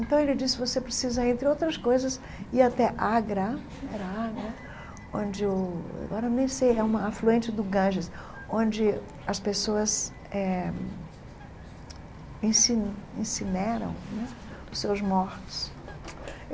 Então, ele disse, você precisa ir, entre outras coisas, ir até Agra, era Agra, onde o... agora nem sei, é uma afluente do Ganges, onde as pessoas eh ensi ensineram né ensinaram os seus mortos.